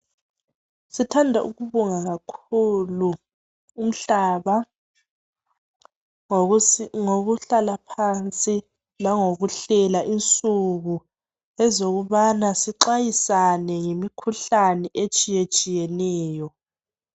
Sithanda ukubonga kakhulu umhlaba ngokuhlala phansi, langokuhlela insuku ezokubana sixwayisane ngemikhuhlane etshiyetshiyetshiyeneyo.